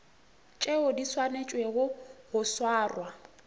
tšeo di swanetšego go swarwa